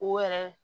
O yɛrɛ